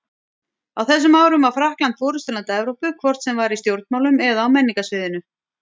Á þessum árum var Frakkland forystuland Evrópu, hvort sem var í stjórnmálum eða á menningarsviðinu.